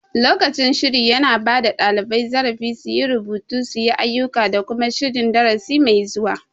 Lokacin shiri yana bada ɗalibai zarafi su yi rubutu, suyi ayuka da kuma shirin darasi mai zuwa